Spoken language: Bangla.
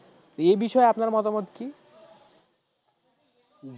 এই বিষয়ে আপনার মতামত কি?